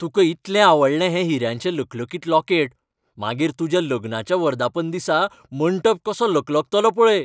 तुका इतलें आवडलें हें हिऱ्याचें लकलकीत लॉकेट, मागीर तुज्या लग्नाच्या वर्धापन दिसा मंटप कसो लकलकतलो पळय!